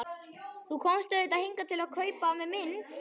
Þú komst auðvitað hingað til að kaupa af mér mynd.